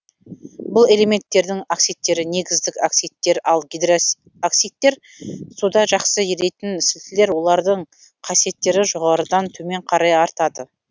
бұл элементтердің оксидтері негіздік оксидтер ал гидроксидтері суда жақсы еритін сілтілер олардың қасиеттері жоғарыдан төмен қарай артады